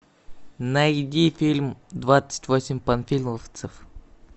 найди фильм двадцать восемь панфиловцев